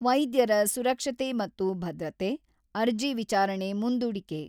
ವೈದ್ಯರ ಸುರಕ್ಷತೆ ಮತ್ತು ಭದ್ರತೆ ; ಅರ್ಜಿ ವಿಚಾರಣೆ ಮುಂದೂಡಿಕೆ.